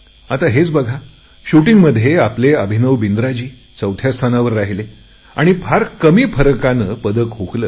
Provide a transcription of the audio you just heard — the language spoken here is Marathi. आत हेच बघा नेमबाजीमध्ये आपले अभिनव बिंद्राजी चौथ्या स्थानावर राहिले आणि फार कमी फरकाने पदक हुकले